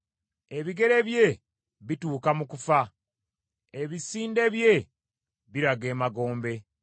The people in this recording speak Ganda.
Ebigere bye bituuka mu kufa, ebisinde bye biraga emagombe.